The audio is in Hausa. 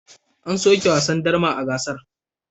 An soke yin wasan jifan darma a gasar.